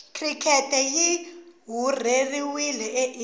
cricket yirhurheliwe aindia